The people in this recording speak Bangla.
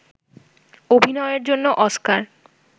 অভিনয়ের জন্য অস্কার